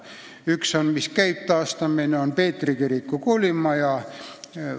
Üks, mille taastamine käib, on Peetri kiriku koolimaja.